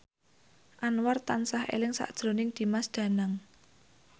Anwar tansah eling sakjroning Dimas Danang